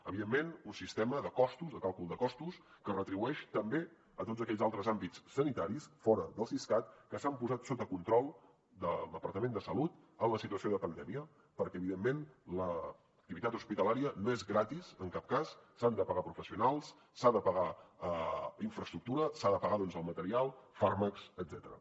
evidentment un sistema de càlcul de costos que retribueix també tots aquells altres àmbits sanitaris fora del siscat que s’han posat sota control del departament de salut en la situació de pandèmia perquè evidentment l’activitat hospitalària no és gratis en cap cas s’han de pagar professionals s’ha de pagar infraestructura s’ha de pagar doncs el material fàrmacs etcètera